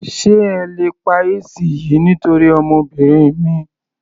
Sé ẹ lè pa AC yìí nítorí ọmọbìnrin mi.